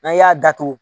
N'an y'a datugu